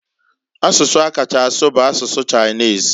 Asụsụ a kacha asụ bu asụsụ Chinese.